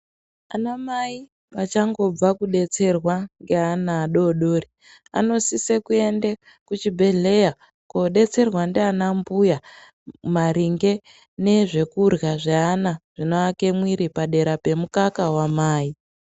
Anamai achangobva kudetserwa ngeana adodori anosise kuende kuchibhedhlera koodetserwa ndianambuya maringe nezvekurya zveana zvinoake muviri padera pemukaka wamai.